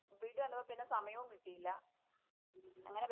വീട്ടി വന്നപ്പം പിന്നെ സമയോം കിട്ടിയില്ല. അങ്ങനെ പറ്റി